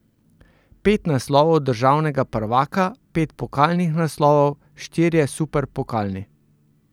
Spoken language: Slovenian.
Pet naslovov državnega prvaka, pet pokalnih naslovov, štirje superpokalni.